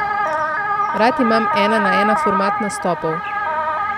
Rad imam ena na ena format nastopov.